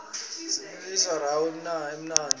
sibilisa rqawo emanti